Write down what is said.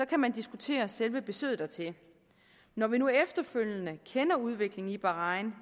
kan man diskutere selve besøget dertil når vi nu efterfølgende kender udviklingen i bahrain